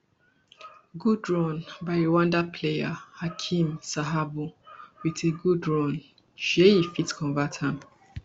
good run by rwanda player hakim sahabo wit a good run sheyy e fit convert am